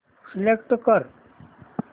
select कर